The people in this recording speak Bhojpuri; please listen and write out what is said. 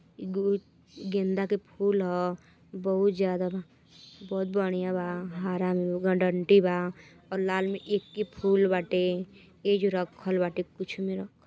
एगो गेंदा के फूल ह। बहुत ज्यादा बा। बहुत बढ़िया बा हरा रंग में ओका डंडी बा और लाल एक्के फूल बाटे। एजे रखल बाटे कुछ में रखल --